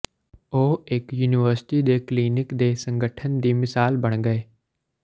ਉਹ ਇਕ ਯੂਨੀਵਰਸਿਟੀ ਦੇ ਕਲੀਨਿਕ ਦੇ ਸੰਗਠਨ ਦੀ ਮਿਸਾਲ ਬਣ ਗਏ